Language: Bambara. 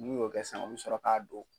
N'u y'o kɛ sisan a bi sɔrɔ k'a don.